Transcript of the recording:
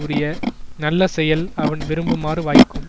உரிய நல்ல செயல் அவன் விரும்புமாறு வாய்க்கும்